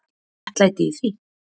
Er virðing og réttlæti í því